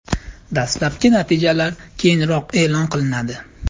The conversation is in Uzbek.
Dastlabki natijalar keyinroq e’lon qilinadi.